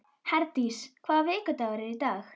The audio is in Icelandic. Herdís, hvaða vikudagur er í dag?